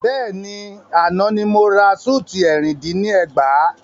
Bẹ́ẹ̀ni, àná ni mo ra súùtì ẹ̀rin dín ní ẹgbàá.